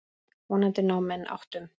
Vonandi ná menn áttum.